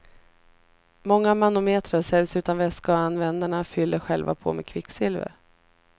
Många manometrar säljs utan vätska och användarna fyller själva på med kvicksilver.